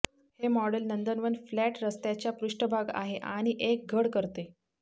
हे मॉडेल नंदनवन फ्लॅट रस्त्याचा पृष्ठभाग आहे आणि एक घड करते